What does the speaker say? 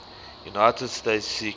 united states secret